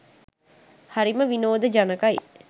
හරිම විනෝද ජනකයි.